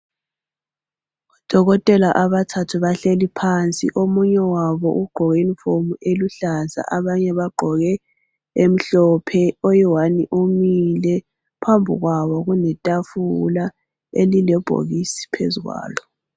Odokotela abathathu bahleli phansi omunye wabo ugqoke iyunifomu eluhlaza abanye bagqoke emhlophe. Oyiwani umile phambi kwabo kuletafula elilebhokisi phezu kwalo.